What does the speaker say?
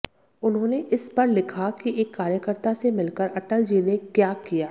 उन्होंने इस पर लिखा कि एक कार्यकर्ता से मिलकर अटल जी ने क्या किया